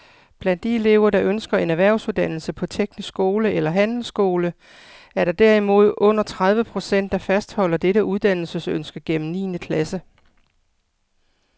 Blandt de elever, der ønsker en erhvervsuddannelse på teknisk skole eller handelsskole, er der derimod under tredive procent, der fastholder dette uddannelsesønske gennem niende klasse.